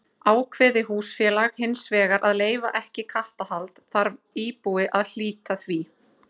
Ákveði húsfélag hins vegar að leyfa ekki kattahald þarf íbúi að hlíta því.